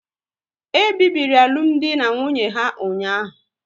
E bibiri alụmdi na nwunye ha ụnyaahụ